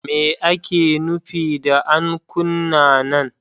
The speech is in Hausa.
Me ake nufi da ankuna nan?